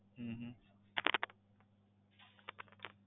હમ